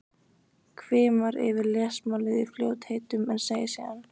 Hvimar yfir lesmálið í fljótheitum en segir síðan